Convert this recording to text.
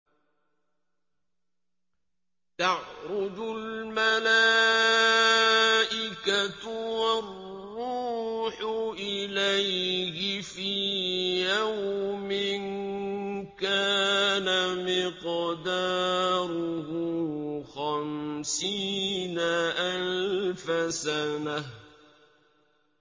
تَعْرُجُ الْمَلَائِكَةُ وَالرُّوحُ إِلَيْهِ فِي يَوْمٍ كَانَ مِقْدَارُهُ خَمْسِينَ أَلْفَ سَنَةٍ